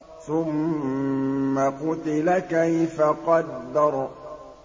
ثُمَّ قُتِلَ كَيْفَ قَدَّرَ